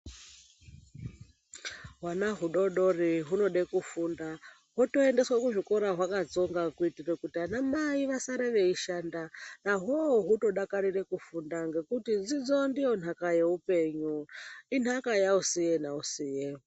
Hwana hudodori hunoda kufunda hwotoendeswa kuzvikora hwakatsonga kuitira kuti ana mai vasare veishanda naho hunodakarira kufunda ngekuti dzidzo ndiyo nhaka yehupenyu inhaka yausiye nausiye.